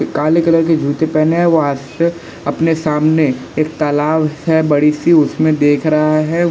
काले कलर के जूते पेहने हैं वहां से फिर अपने सामने एक तालाब है बड़ी सी उसमें देख रहा है।